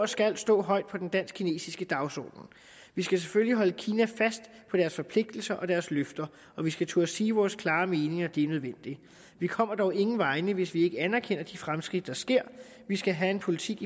skal stå højt på den dansk kinesiske dagsorden vi skal selvfølgelig holde kina fast på deres forpligtelser og deres løfter og vi skal turde sige vore klare meninger det er nødvendigt vi kommer dog ingen vegne hvis ikke vi anerkender de fremskridt der sker vi skal have en politik